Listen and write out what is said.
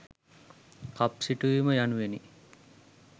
කප් සිටුවීම යනුවෙනි.